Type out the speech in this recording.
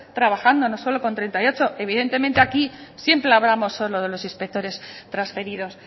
trabajando no solo con treinta y ocho evidentemente aquí siempre hablamos solo de los inspectores transferidos